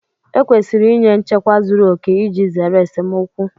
Ekwesịrị ịnye nchekwa zuru oke iji zere esemokwu